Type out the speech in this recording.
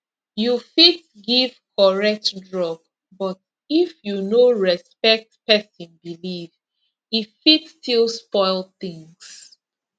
you fit give correct drug but if you no respect person belief e fit still spoil things